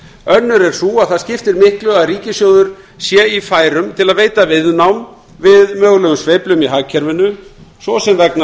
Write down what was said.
önnur er sú að það skiptir miklu að ríkissjóður sé í færum til að veita viðnám við mögulegum sveiflum í hagkerfinu svo sem vegna